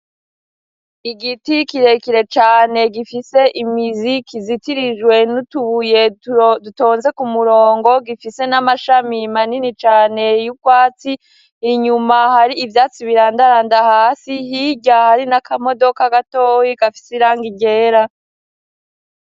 Igiti kirekire cane gifise imizi kizitirijwe n'utubuye dutonze ku murongo gifise n'amashami maninicane y'ukoatsi inyuma hari ivyatsi birandaranda hasi hirya hari n'akamodoka gatowi gafise iranga irera.